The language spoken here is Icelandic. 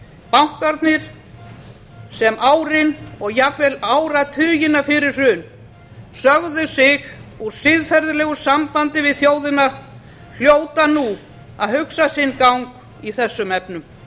bankarnir sem árin og jafnvel áratugina fyrir hrun sögðu sig úr siðferðilegu sambandi við þjóðina hljóta nú að hugsa sinn gang í þessum efnum